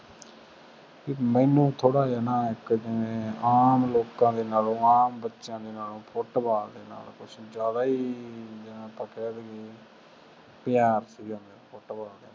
ਬਈ ਮੈਨੂੰ ਥੋੜ੍ਹਾ ਜਿਹਾ ਨਾ ਇੱਕ ਜਿਵੇਂ ਆਮ ਲੋਕਾਂ ਦੇ ਨਾਲੋਂ ਆਮ ਬੱਚਿਆਂ ਦੇ ਨਾਲੋਂ ਫੁੱਟਬਾਲ ਦੇ ਨਾਲ ਕੁੱਛ ਜ਼ਿਆਦਾ ਹੀ ਜਿਵੇਂ ਆਪਾਂ ਕਹਿ ਦੇਈਏ ਪਿਆਰ ਸੀਗਾ ਫੁੱਟਬਾਲ ਦੇ ਨਾਲ,